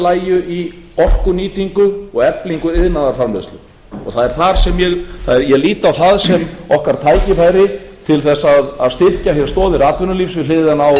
lægju í orkunýtingu og eflingu iðnaðarframleiðslu ég lít á það sem okkar tækifæri til þess að styrkja hér stoðir atvinnulífsins við hliðina á öflugum sjávarútvegi